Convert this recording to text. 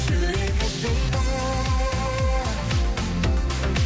жүрек іздейді